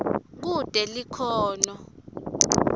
kute likhono